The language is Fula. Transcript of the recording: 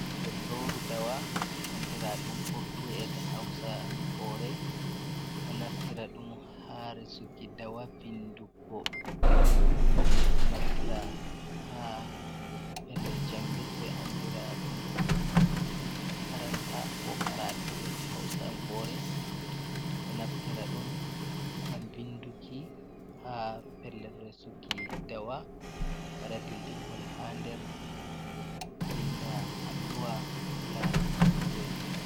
Jolloru dawa andira ɗum kurtu’ e hausa kore ɗo naftira ɗum ha resuki dawa vinduggo, ɗo naftira ha pellel jangirde andira ɗum makaranta ko karatu e hausankore, ɗo naftira ɗum ngam vinduki ha pellel re suki dawa, wada bindirgol ha nder, vinda alluwa ko larani jangirde diina.